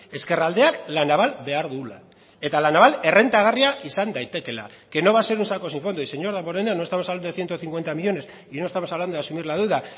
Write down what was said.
ezkerraldeak la naval behar duela eta la naval errentagarria izan daitekeela que no va a ser un saco sin fondo y señor damborenea no estamos hablando de ciento cincuenta millónes y no estamos hablando de asumir la deuda